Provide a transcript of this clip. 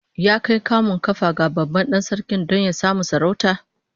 Ya kai kamun kafa ga babban dan sarki don ya samu sarauta?